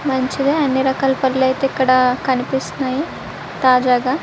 మంచిగా అని రకాల పండ్లు అయితే కనిపిస్తున్నాయి. తాజాగా --